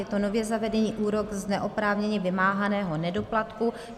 Je to nově zavedený úrok z neoprávněně vymáhaného nedoplatku.